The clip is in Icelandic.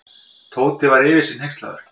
Tóti var yfir sig hneykslaður.